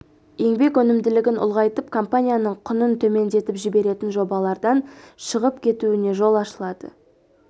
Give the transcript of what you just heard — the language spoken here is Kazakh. еңбек өнімділігін ұлғайтып компанияның құнын төмендетіп жіберетін жобалардан шығып кетуіне жол ашылады